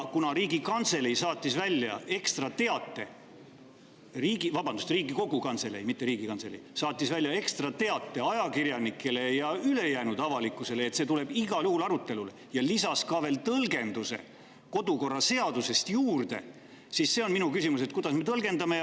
Kuna Riigikantselei – vabandust, Riigikogu Kantselei, mitte Riigikantselei – saatis ajakirjanikele ja ülejäänud avalikkusele ekstra välja teate, et see tuleb igal juhul arutelule, ja lisas ka veel kodukorraseaduse tõlgenduse juurde, siis on minu küsimus, et kuidas me seda tõlgendame.